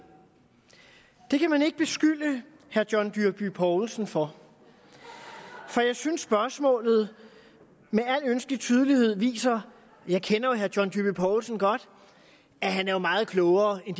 det kan man ikke beskylde herre john dyrby paulsen for for jeg synes spørgsmålet med al ønskelig tydelighed viser jeg kender jo herre john dyrby paulsen godt at han er meget klogere end